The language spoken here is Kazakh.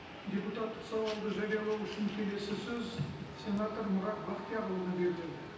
депутаттық сауалды жариялау үшін келесі сөз сенатор мұрат бақтиярұлына беріледі